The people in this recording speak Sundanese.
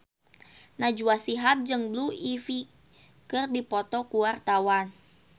Najwa Shihab jeung Blue Ivy keur dipoto ku wartawan